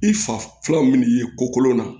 I fa fila min ye ko kolon na